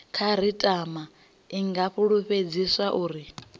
khasitama i nga fulufhedziswa uri